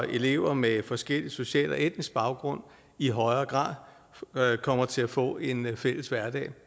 elever med forskellig social og etnisk baggrund i højere grad kommer til at få en fælles hverdag